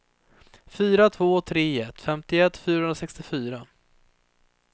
fyra två tre ett femtioett fyrahundrasextiofyra